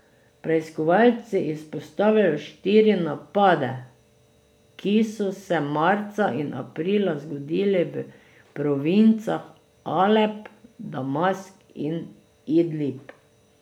Preiskovalci izpostavljajo štiri napade, ki so se marca in aprila zgodili v provincah Alep, Damask in Idlib.